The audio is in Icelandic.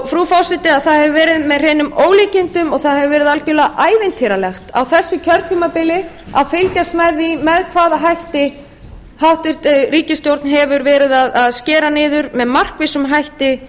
frú forseti það hefur verið með hreinum ólíkindum og það hefur verið algerlega ævintýralegt á þessu kjörtímabili að fylgjast með því með hvaða hætti háttvirtur ríkisstjórn hefur verið að skera niður með markvissum hætti